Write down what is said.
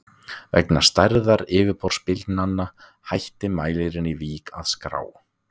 Vegna stærðar yfirborðsbylgnanna hætti mælirinn í Vík að skrá.